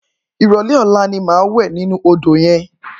Iròlè ólá ni má lò wè ninú ódó yèn